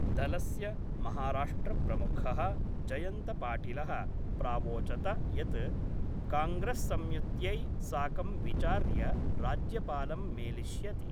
दलस्य महाराष्ट्रप्रमुख: जयन्तपाटिल: प्रावोचत यत् कांग्रेस्‌संयुत्यै साकं विचार्य राज्यपालं मेलिष्यति।